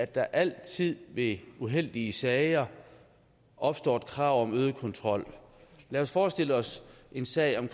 der altid ved uheldige sager opstår et krav om øget kontrol lad os forestille os en sag om